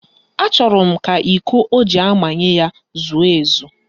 Achọrọ m ka iko o ji amanye ya zuo ezu